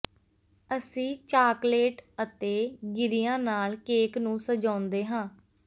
ਅਸੀਂ ਚਾਕਲੇਟ ਅਤੇ ਗਿਰੀਆਂ ਨਾਲ ਕੇਕ ਨੂੰ ਸਜਾਉਂਦੇ ਹਾਂ